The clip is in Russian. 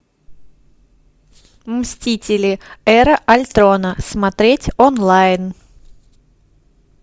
мстители эра альтрона смотреть онлайн